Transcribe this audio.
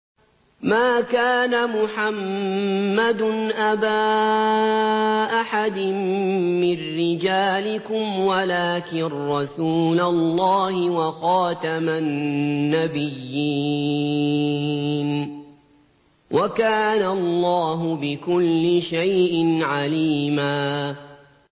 مَّا كَانَ مُحَمَّدٌ أَبَا أَحَدٍ مِّن رِّجَالِكُمْ وَلَٰكِن رَّسُولَ اللَّهِ وَخَاتَمَ النَّبِيِّينَ ۗ وَكَانَ اللَّهُ بِكُلِّ شَيْءٍ عَلِيمًا